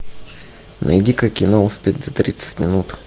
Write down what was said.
найди ка кино успеть за тридцать минут